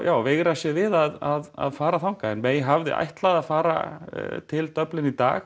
veigra sér við að fara þangað en hafði ætlað að fara til Dublin í dag